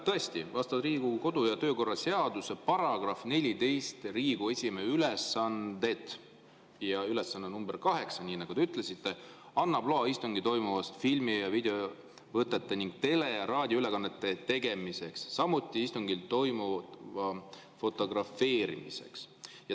Tõesti, vastavalt Riigikogu kodu‑ ja töökorra seaduse §‑le 14, "Riigikogu esimehe ülesanded", ülesanne number kaheksa, nii nagu te ütlesite, annab loa istungil toimuvast filmi‑ ja videovõtete ning tele‑ ja raadioülekannete tegemiseks, samuti istungil toimuva fotografeerimiseks.